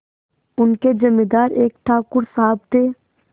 उनके जमींदार एक ठाकुर साहब थे